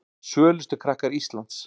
Svölustu krakkar Íslands